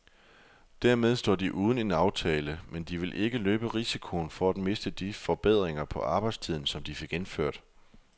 Dermed står de uden en aftale, men de vil ikke løbe risikoen for at miste de forbedringer på arbejdstiden, som de fik indført.